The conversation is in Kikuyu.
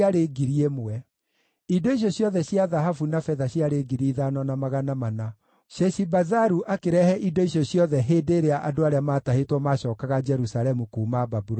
Indo icio ciothe cia thahabu na betha ciarĩ 5,400. Sheshibazaru akĩrehe indo icio ciothe hĩndĩ ĩrĩa andũ arĩa maatahĩtwo maacookaga Jerusalemu kuuma Babuloni.